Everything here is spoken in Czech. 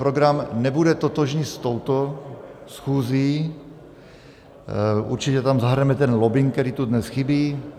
Program nebude totožný s touto schůzí, určitě tam zahrneme ten lobbing, který tu dnes chybí.